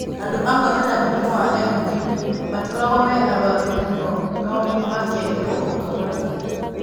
Andũ amwe mena mũrimũ wa MD matikoragwo me arwaru mũno no makehĩrwo o kahora.